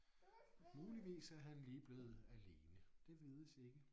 Muligvis er han lige blevet alene det vides ikke